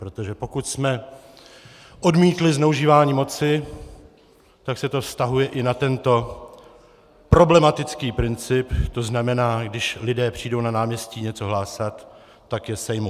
Protože pokud jsme odmítli zneužívání moci, tak se to vztahuje i na tento problematický princip, to znamená, když lidé přijdou na náměstí něco hlásat, tak je sejmu.